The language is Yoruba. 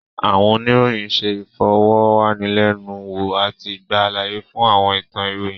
Àwọn oníròyìn ṣé ìfọ̀rọ̀wánilẹ́nuwò àti gba àlàyé fún àwọn ìtàn ìròyìn